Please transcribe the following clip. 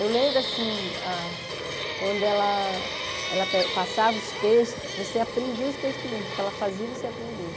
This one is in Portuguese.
Eu lembro, assim, ah quando ela ela pe passava os textos, você aprendia os textos mesmo, porque ela fazia você aprender.